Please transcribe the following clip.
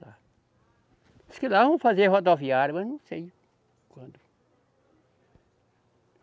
Dizem que lá vão fazer rodoviária, mas não sei quando.